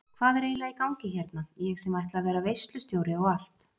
Hvað er eiginlega í gangi hérna ég sem ætla að vera veislustjóri og allt.